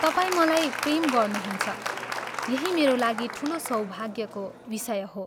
तपाईं मलाई प्रेम गर्नुहुन्छ यही मेरो लागि ठूलो सौभाग्यको विषय हो।